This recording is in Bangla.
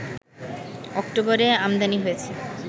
অক্টোবরে আমদানি হয়েছে